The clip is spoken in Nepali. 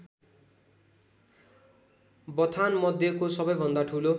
बथानमध्येको सबैभन्दा ठूलो